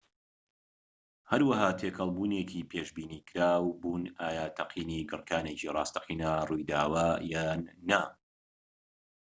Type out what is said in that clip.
هەورەکان تێکەڵ بوونێکی پێشبینیکراو بوون ئایا تەقینی گڕکانێکی ڕاستەقینە ڕوویداوە یان نا